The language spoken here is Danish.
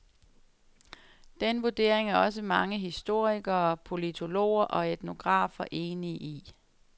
Den vurdering er også mange historikere, politologer og etnografer enige i.